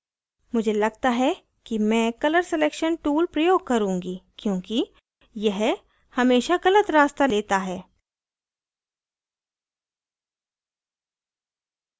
मुझे लगता है कि मैं colour selection tool प्रयोग करुँगी क्योंकि यह हमेशा गलत रास्ता लेता है